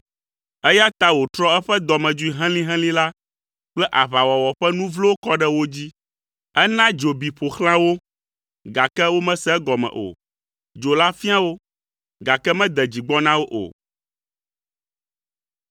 Eya ta wòtrɔ eƒe dɔmedzoe helĩhelĩ la kple aʋawɔwɔ ƒe nu vlowo kɔ ɖe wo dzi. Ena dzo bi ƒo xlã wo, gake womese egɔme o. Dzo la fia wo, gake mede dzi gbɔ na wo o.